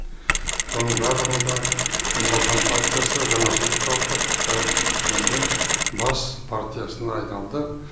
соның барлығында нүр отан партиясы жаңашылдық танытып тәуелсіздігіміздің бас партиясына айналды